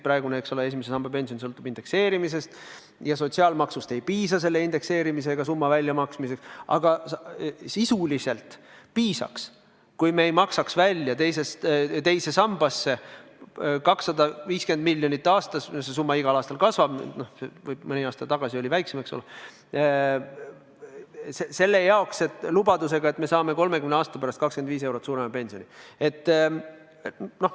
Praegune esimese samba pension sõltub indekseerimisest ja sotsiaalmaksust ei piisa selle indekseerimisega saadud summa väljamaksmiseks, aga sisuliselt piisaks, kui me ei maksaks teise sambasse 250 miljonit aastas – see summa igal aastal kasvab, mõni aasta tagasi oli see väiksem – selle lubadusega, et me saame 30 aasta pärast 25 eurot suurema pensioni.